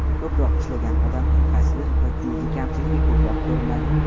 Ko‘proq ishlagan odamning qaysidir bir juz’iy kamchiligi ko‘proq ko‘rinadi.